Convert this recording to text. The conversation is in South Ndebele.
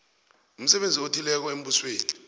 umsebenzi othileko embusweni